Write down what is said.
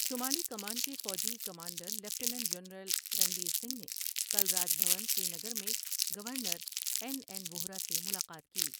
شمالی کمان کے فوجی commander lieutenant general Ranbir Singh نے کل راج بھون سرینگر میں گورنر این این ووہرا سے ملاقات کی۔